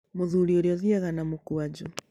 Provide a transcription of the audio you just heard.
Mũthuri ũrĩa athiiaga na mũkwanjũ.